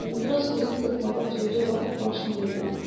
Uzun-duraz gözünü qırpmadan Corca baxıb başını yellədi.